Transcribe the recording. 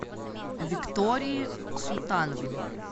виктории султановне